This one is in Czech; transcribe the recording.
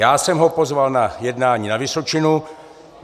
Já jsem ho pozval na jednání na Vysočinu.